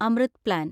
Amrit plan